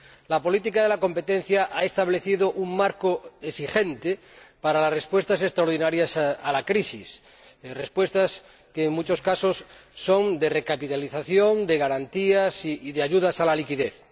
La política de competencia ha establecido un marco exigente para las respuestas extraordinarias a la crisis, respuestas que, en muchos casos, son de recapitalización, de garantías y de ayudas a la liquidez